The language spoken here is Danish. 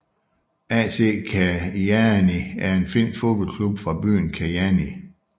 AC Kajaani er en finsk fodboldklub fra byen Kajaani